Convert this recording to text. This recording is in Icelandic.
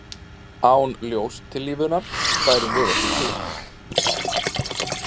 Án ljóstillífunar værum við ekki til.